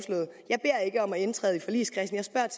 jeg beder ikke om at indtræde i forligskredsen